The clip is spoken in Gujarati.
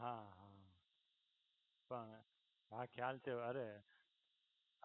હા હા પણ ખ્યાલ છે અરે